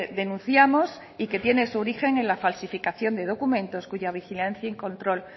denunciamos y que tiene su origen en la falsificación de documentos cuya vigilancia y control